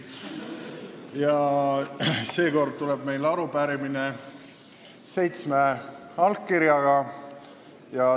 Ja seekord tuleb meilt arupärimine seitsme allkirjaga.